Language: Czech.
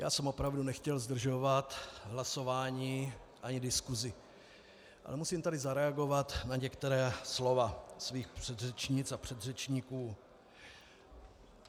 Já jsem opravdu nechtěl zdržovat hlasování ani diskusi, ale musím tady zareagovat na některá slova svých předřečnic a předřečníků.